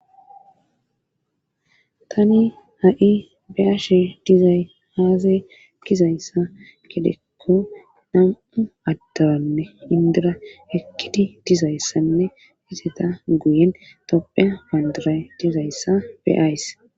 Tani ha'i beaash dizay haazay gizayssa gedekko nam'u addaranne indira ekkidi dizayssanne hizeta guyen tophe panduray dizayssa beayss.